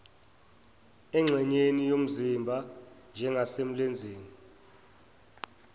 engxenyeni yomzimba njengasemlenzeni